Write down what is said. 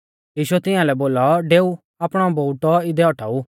यीशुऐ तिंया लै बोलौ डेऊ आपणौ बोउटौ इदै औटाऊ